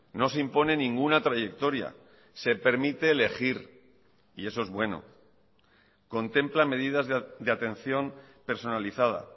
no se impone ninguna trayectoria se permite elegir y eso es bueno contempla medidas de atención personalizada